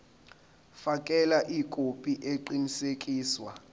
fakela ikhophi eqinisekisiwe